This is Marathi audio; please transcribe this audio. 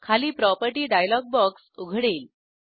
खाली प्रॉपर्टी डायलॉग बॉक्स उघडेल